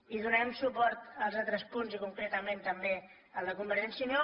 i donarem suport als altres punts i concretament també al de convergència i unió